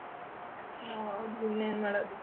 ಹಾ ಹೌದು ಇನ್ನೇನ್ ಮಡಾದು.